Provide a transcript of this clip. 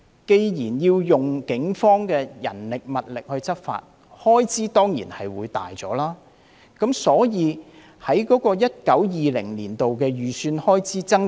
既然要動用警方的人力物力執法，開支當然會增加，所以 2019-2020 年度的預算開支才會增加。